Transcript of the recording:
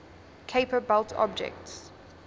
kuiper belt objects